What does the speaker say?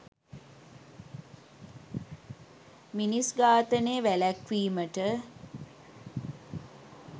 මිනිස් ඝාතනය වැළැක්වීමට